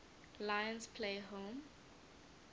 lions play home